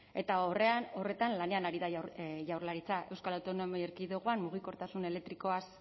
eta horretan lanean ari da jaurlaritza euskal autonomi erkidegoan mugikortasun elektrikoaz